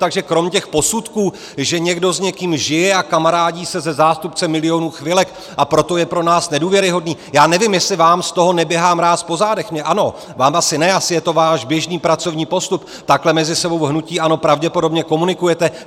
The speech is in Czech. Takže kromě těch posudků, že někdo s někým žije a kamarádí se se zástupcem Milionů chvilek, a proto je pro nás nedůvěryhodný - já nevím, jestli vám z toho neběhá mráz po zádech, mně ano, vám asi ne, asi je to váš běžný pracovní postup, takhle mezi sebou v hnutí ANO pravděpodobně komunikujete.